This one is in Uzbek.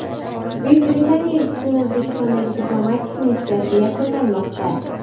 Buyuk Britaniya elchisining O‘zbekistondagi diplomatik missiyasi yakunlanmoqda.